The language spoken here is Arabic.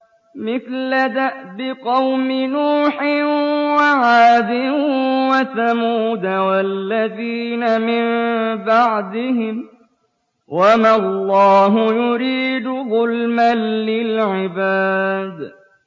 مِثْلَ دَأْبِ قَوْمِ نُوحٍ وَعَادٍ وَثَمُودَ وَالَّذِينَ مِن بَعْدِهِمْ ۚ وَمَا اللَّهُ يُرِيدُ ظُلْمًا لِّلْعِبَادِ